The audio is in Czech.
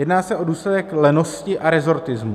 Jedná se o důsledek lenosti a rezortismu.